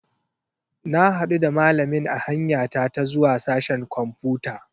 Na hadu da malamin a hanya ta ta zuwa sashen kwamfuta.